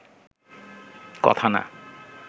কথা না